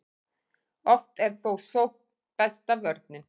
oft er þó sókn besta vörnin